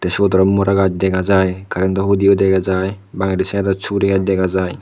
siyot aro mora gaaj dega jai currento hudiyo dega jai bangede saidot suguri gaaj dega jai.